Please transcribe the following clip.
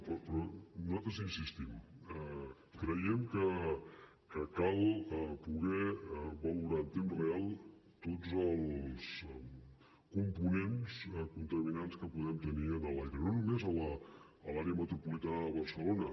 però nosaltres hi insistim creiem que cal poder valorar en temps real tots els components contaminants que podem tenir a l’aire no només a l’àrea metropolitana de barcelona